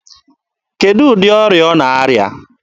Kedụ ụdị ọrịa ọ na-arịa?